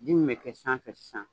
ji min bɛ kɛ sanfɛ sisan.